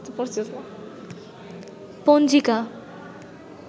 পঞ্জিকা